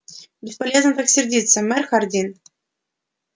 бесполезно так сердиться мэр хардин